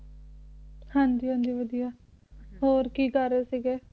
ਹਾਂਜੀ ਹਾਂਜੀ ਵਧੀਆ ਹੋਰ ਕੀ ਕਰ ਰਹੇ ਸੀਗੇ